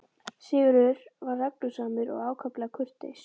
Sigurður var reglusamur og ákaflega kurteis.